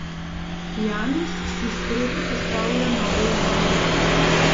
Janus si sproti postavlja nove izzive.